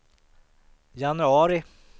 januari